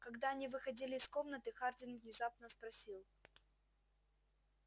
когда они выходили из комнаты хардин внезапно спросил